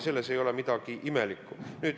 Selles ei ole midagi imelikku.